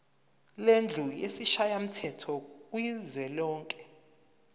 lendlu yesishayamthetho kuzwelonke